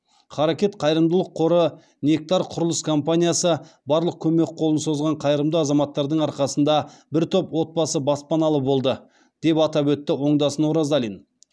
харекет қайырымдылық қоры нектар құрылыс компаниясы барлық көмек қолын созған қайрымды азаматтардың арқасында бір топ отбасы баспаналы болды деп атап өтті оңдасын оразалин